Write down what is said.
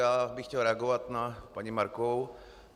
Já bych chtěl reagovat na paní Markovou.